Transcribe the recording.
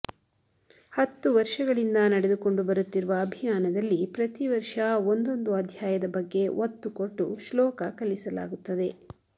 ಹತ್ತು ವರ್ಷಗಳಿಂದ ನಡೆದುಕೊಂಡು ಬರುತ್ತಿರುವ ಅಭಿಯಾನದಲ್ಲಿ ಪ್ರತಿ ವರ್ಷ ಒಂದೊಂದು ಅಧ್ಯಾಯದ ಬಗ್ಗೆ ಒತ್ತು ಕೊಟ್ಟು ಶ್ಲೋಕ ಕಲಿಸಲಾಗುತ್ತದೆ